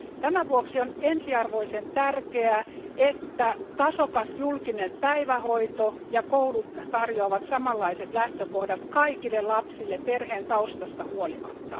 Tämän vuoksi on ensiarvoisen tärkeää, että tasokas julkinen päivähoito ja koulu tarjoavat samanlaiset lähtökohdat kaikille lapsille perheen taustasta huolimatta.